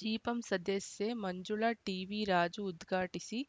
ಜಿಪಂ ಸದಸ್ಯೆ ಮಂಜುಳಾ ಟಿವಿರಾಜು ಉದ್ಘಾಟಿಸಿ